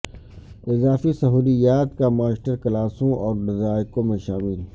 اضافی سہولیات کا ماسٹر کلاسوں اور ذائقوں میں شامل